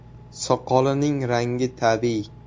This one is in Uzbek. Soqolining rangi tabiiy.